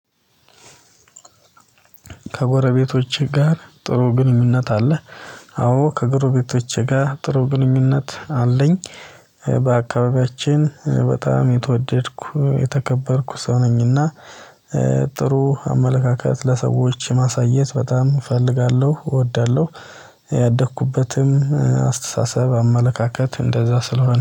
ከጎረቤቶቼ ጋር ጥሩ ግንኙነት አለ። አዎ ከጎረቤቶቼ ጋር ጥሩ ግንኙነት አለኝ። በአካባቢያችን በጣም የተወደድኩ የተከበርኩ ሰው ነኝና። ጥሩ አመለካከት ለሰዎች ማሳየት በጣም እፈልጋለሁ እወዳለሁ። ያደግኩበትም አስተሳሰብ አመለካከት እንደዛ ስለሆነ